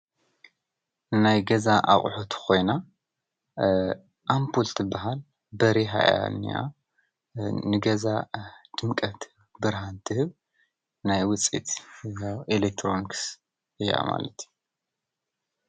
ናይ ገዛ ኣቁሑት ኮይኖም ኣምፑል ትባሃል በሪሃ እያ ዝኒሃ ፡፡ ንገዛ ድምቀት ብርሃን ትህብ ናይ ውፅኢት ኤሌክትሮኒክስ እያ ማለት እዩ፡፡